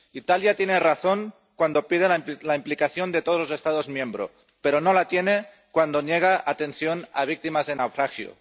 Italia tiene razón cuando pide la implicación de todos los Estados miembros, pero no la tiene cuando niega atención a víctimas de naufragio.